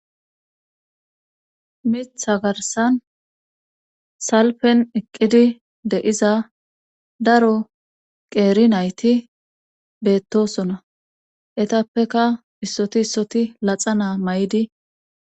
Mitha garsan salpen eqqidi de7iza daro qeeri nayti beettosona etappeka issoti issoti laxa naa may7idi